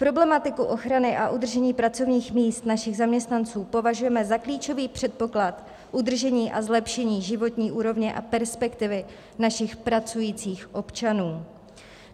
Problematiku ochrany a udržení pracovních míst našich zaměstnanců považujeme za klíčový předpoklad udržení a zlepšení životní úrovně a perspektivy našich pracujících občanů.